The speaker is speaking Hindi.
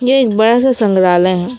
ये एक बड़ा सा संग्रहालय है।